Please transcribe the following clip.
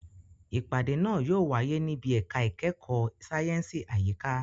Ìpàdé náà yóò wáyé níbi ẹ̀ka ìkẹ́kọ̀ọ́ sáyẹ̀nsì àyíká.